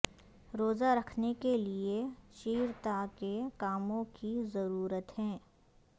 روزہ رکھنے کے لئے چیرتا کے کاموں کی ضرورت ہے